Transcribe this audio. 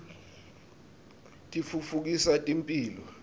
titfutfukisa temphilo